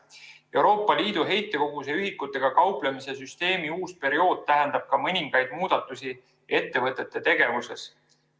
Euroopa Liidu heitkoguse ühikutega kauplemise süsteemi uus periood tähendab ka mõningaid muudatusi ettevõtete tegevuses.